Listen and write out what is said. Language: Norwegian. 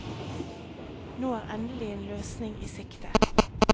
Nå er endelig en løsning i sikte.